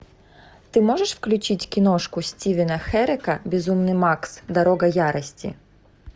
ты можешь включить киношку стивена херека безумный макс дорога ярости